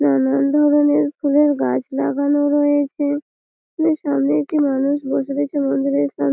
নানান ধরণের ফুলের গাছ লাগানো রয়েছে। ফুলের সামনে একটি মানুষ বসে বসে মন্দিরের সাম--